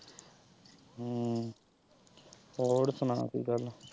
ਹਮ ਹੋਰ ਸੁਣਾ ਕੋਈ ਗੱਲ।